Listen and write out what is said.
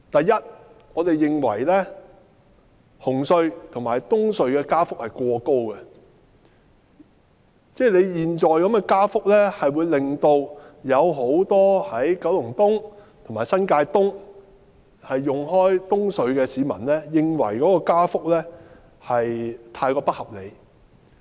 首先，我們認為紅磡海底隧道及東區海底隧道的加幅過高，很多九龍東及新界東慣常使用東隧的市民，都認為加幅太不合理。